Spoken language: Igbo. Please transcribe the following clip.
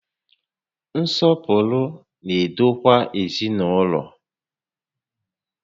Nsọpụrụ na-edokwa ezinaụlọ